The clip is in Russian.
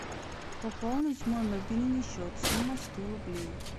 пополнить мой мобильный счет сумма сто рублей